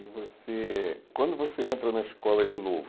E você, quando você entra na escola de novo,